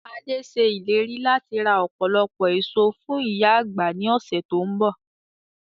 Adé ṣe ìlérí láti ra ọpọlọpọ èso fún ìyá àgbà ni ọ̀sẹ̀ to ń bọ̀.